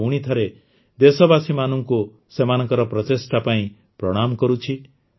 ମୁଁ ପୁଣି ଥରେ ଦେଶବାସୀମାନଙ୍କୁ ସେମାନଙ୍କ ପ୍ରଚେଷ୍ଟା ପାଇଁ ପ୍ରଣାମ କରୁଛି